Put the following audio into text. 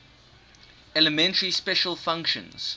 elementary special functions